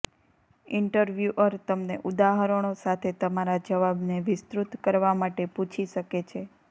interviewer તમને ઉદાહરણો સાથે તમારા જવાબને વિસ્તૃત કરવા માટે પૂછી શકે છે